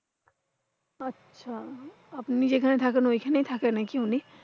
আপনি যেখানে থাকেন ঐখানে থাকে নাকি উনি?